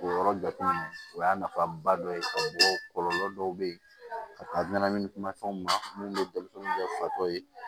O yɔrɔ jateminɛ o y'a nafaba dɔ ye kɔlɔlɔ dɔw bɛ yen ka ɲanamini kumafɛnw ma minnu bɛ denmisɛnninw kɛ fatɔ ye